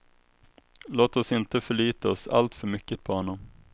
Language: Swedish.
Låt oss inte förlita oss alltför mycket på honom.